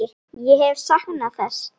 Ég hef saknað þess.